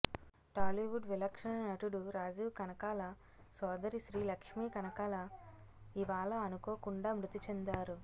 టాలీవుడ్ విలక్షణ నటుడు రాజీవ్ కనకాల సోదరి శ్రీ లక్ష్మీ కనకాల ఇవాళ అనుకోకుండా మృతి చెందారు